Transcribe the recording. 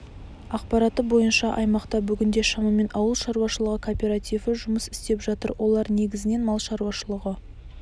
ақпараты бойынша аймақта бүгінде шамамен ауыл шаруашылығы кооперативі жұмыс істеп жатыр олар негізінен мал шаруашылығы